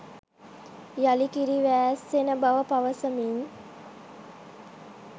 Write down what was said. යළි කිරි වෑස්සෙන බව පවසමින්